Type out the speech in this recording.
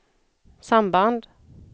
samband